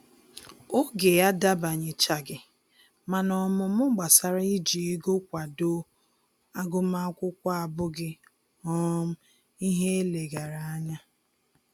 Oge adabanyechaghị, mana ọmụmụ gbasara iji ego kwado agụmakwụkwọ abụghị um ihe eleghara anya